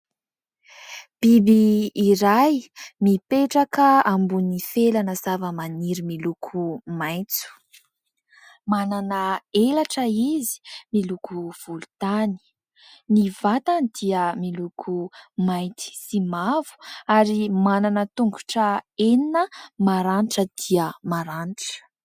Biby iray mipetraka ambony felana zava-maniry miloko maitso. Manana elatra izy, miloko volontany. Ny vatany dia miloko mainty sy mavo ary manana tongotra enina maranitra dia maranitra.